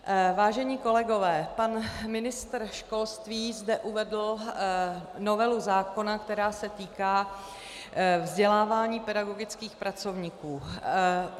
Vážení kolegové, pan ministr školství zde uvedl novelu zákona, která se týká vzdělávání pedagogických pracovníků.